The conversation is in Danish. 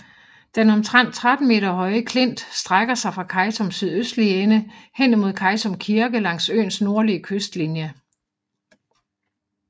Den omtrent 13 meter høje klint strækker sig fra Kejtums sydøstlige ende hen imod Kejtum Kirke langs øens nordlige kystlinje